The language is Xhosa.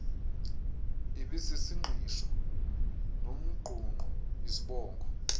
ibisisingqisho nomngqungqo izibongo